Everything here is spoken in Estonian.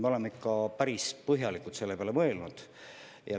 Me oleme ikka päris põhjalikult selle peale mõelnud.